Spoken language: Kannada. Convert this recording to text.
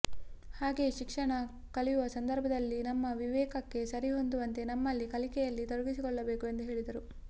ಹಾಗೆಯೇ ಶಿಕ್ಷಣ ಕಲಿಯುವ ಸಂದರ್ಭದಲ್ಲಿ ನಮ್ಮ ವಿವೇಕಕ್ಕೆ ಸರಿ ಹೊಂದುವಂತೆ ನಮ್ಮನ್ನು ಕಲಿಕೆಯಲ್ಲಿ ತೊಡಗಿಸಿಕೊಳ್ಳಬೇಕು ಎಂದು ಹೇಳಿದರು